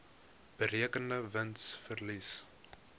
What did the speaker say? berekende wins verlies